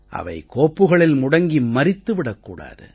அவை கோப்புகளில் முடங்கி மரித்து விடக் கூடாது